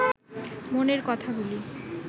মনের কথাগুলি